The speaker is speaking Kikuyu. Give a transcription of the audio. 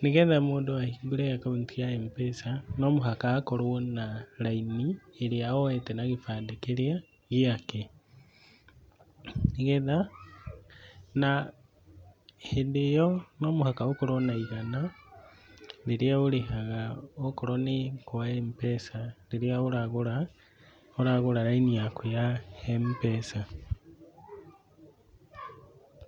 nĩgetha mũndũ ahingũre akaunti ya Mpesa no mũhaka akorwo na raini ĩrĩa oete na gĩbandĩ kĩrĩa gĩake. Na hĩndĩ ĩyo no mũhaka ũkorwo na ĩgana rĩrĩa ũrĩhaga ũkorwo nĩ kwa Mpesa rĩrĩa ũragũra raini yaku ya Mpesa,